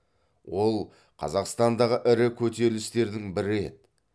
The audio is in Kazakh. ол қазақстандағы ірі көтерілістердің бірі еді